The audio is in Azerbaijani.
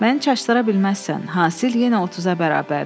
Məni çaşdıra bilməzsən, hasil yenə 30-a bərabərdir.